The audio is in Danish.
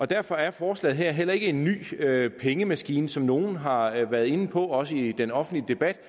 derfor er forslaget her heller ikke en ny pengemaskine som nogle har har været inde på også i den offentlige debat